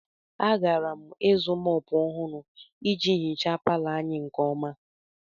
Agara m ịzụ mòpu ọhụrụ iji hichaa palọ anyị nke ọma